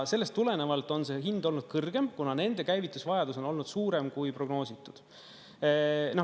Sellest tulenevalt on see hind olnud kõrgem, kuna nende käivitusvajadus on olnud suurem, kui prognoositud.